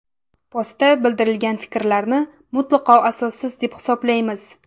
Postda bildirilgan fikrlarni mutlaqo asossiz, deb hisoblaymiz.